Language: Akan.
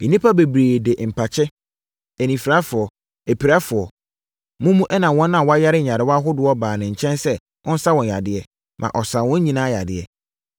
Nnipa bebree de mpakye, anifirafoɔ, apirafoɔ, mumu ɛnna wɔn a wɔyare nyarewa ahodoɔ baa ne nkyɛn sɛ ɔnsa wɔn yadeɛ, ma ɔsaa wɔn nyinaa yadeɛ.